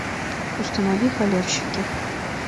установи халявщики